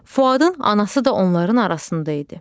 Fuadın anası da onların arasında idi.